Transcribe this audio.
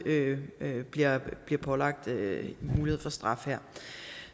bliver pålagt mulighed for straf her